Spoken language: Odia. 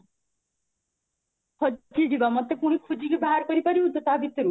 ହଜି ଯିବା ମତେ ପୁଣି ଖୋଜି କି ବାହାର କରି ପାରିବୁ ତ ତା ଭିତରୁ?